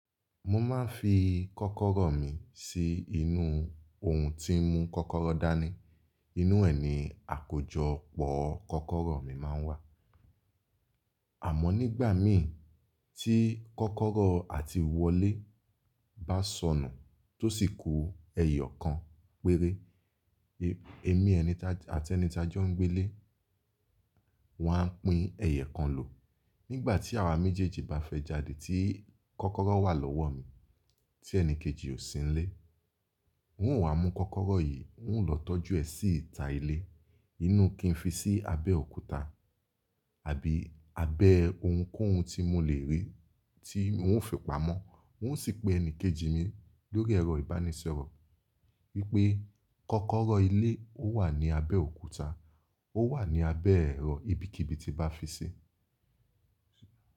Mo máa ń fi kọ́kọ́rọ́ mi sí inú ohun tí ń mú kọ́kọ́rọ́ dání. Inú ẹ̀ ni àkójọpọ̀ kọ́kọ́rọ́ mi máa ń wà. Àmọ́ nígbà mì tí kọ́kọ́rọ́ àti wọlé bá sọnù tó sì kú ẹyọ kan péré, èmi àti ẹni tí a jọ ń gbé lé, wọn a pín ẹyokan lò. Nígbà tí àwa méjèèjì bá fẹ́ jáde tí kọ́kọ́rọ́ wà lọ́wọ́ mi, tí ẹni kejì ò sí nílé, n ó wa mú kọ́kọ́rọ́ yìí, n ó lọ tọ́jú ẹ sí ìta ilé. Inú kí n fi sí abẹ́ òkúta àbí abẹ́ ohunkóhun tí mo lè rí tí n ó fi pamọ́. N ó sì pè ẹni kejì mi lórí ẹ̀rọ ìbánisọ̀rọ̀ wípé kọ́kọ́rọ́ ilé ó wà ní abẹ́ òkúta, ó wà ní abẹ́ ẹ̀rọ ibikíbi tí bá fi sí.